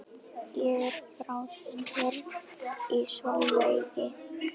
Ég er frá Strönd í Selvogi.